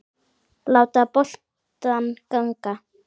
Láta boltann ganga.